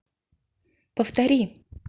повтори